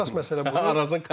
Ən əsas məsələ budur.